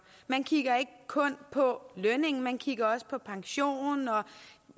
man kigger ikke kun på lønningen man kigger også på pension